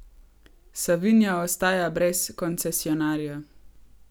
Savinja ostaja brez koncesionarja.